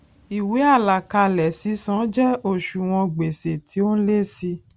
ìwé àlàkalè sísan jẹ òṣùwòn gbèsè tí ó n lé sí í